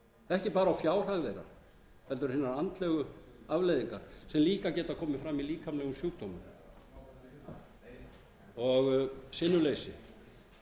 ekki bara á fjárhag þeirra heldur hinar andlegu afleiðingar sem líka geta komið fram í líkamlegum sjúkdómum og sinnuleysi